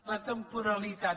la temporalitat